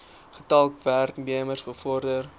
getal werknemers bevorder